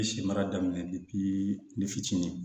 N ye si mara daminɛ fitinin